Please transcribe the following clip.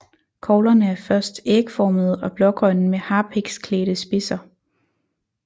Koglerne er først ægformede og blågrønne med harpiksklædte spidser